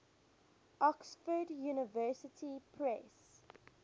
oxford university press